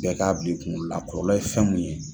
Bɛɛ ka bili kunkolo la a kɔlɔlɔ ye fɛn mun ye.